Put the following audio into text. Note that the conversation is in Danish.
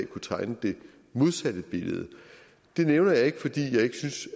kunne tegne det modsatte billede det nævner jeg ikke fordi jeg ikke synes